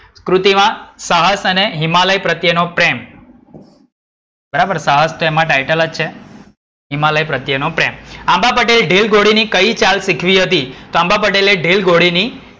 ક્રુતિ માં સાહસ અને હિમાલય પ્રત્યેનો પ્રેમ. બરાબર, સાહસ છે એ એમાં title જ છે. હિમાલય પ્રત્યેનો પ્રેમ. આંબા પટેલે ઢીંલઘોડીની કઈ ચાલ શીખવી હતી? તો આંબા પટેલે ઢીંલઘોડીની,